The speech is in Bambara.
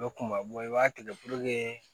Bɛ kunba i b'a tigɛ